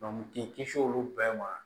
k'i kisi olu bɛɛ ma